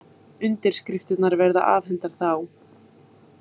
Undirskriftirnar verða afhentar þá